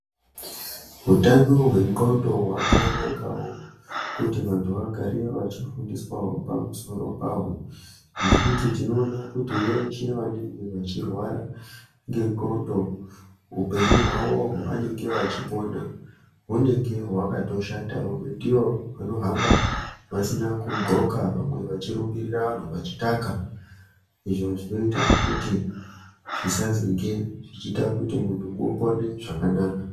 Utano hwendxondo hwakanakawo kuti vanthu vagare vachifundiswawo pamusoro paho, nekuti tinoona kuti veshe vanenge vechirwara nendxondo, upenyu hwavo hwavanenge vachipona hunenge hwakatoshata. Vamwe ndivo vanohamba vasina kudhloka ,vamwe vachirumbirira vanthu vachitaka. Izvo zvinoita kuti zvisazonge zvichiita kuti munhu upone zvakanaka.